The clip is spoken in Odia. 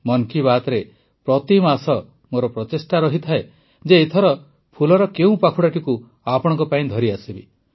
ମନ୍ କି ବାତ୍ରେ ପ୍ରତି ମାସ ମୋର ପ୍ରଚେଷ୍ଟା ରହିଥାଏ ଯେ ଏଥର ଫୁଲର କେଉଁ ପାଖୁଡ଼ାଟିକୁ ଆପଣଙ୍କ ପାଇଁ ଧରି ଆସିବି